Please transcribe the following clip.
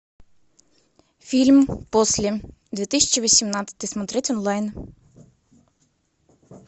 фильм после две тысячи восемнадцатый смотреть онлайн